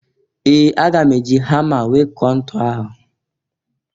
Ee! Aga m e ji hama wee kụọ ntu ahụ.